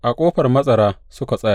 A Ƙofar Matsara suka tsaya.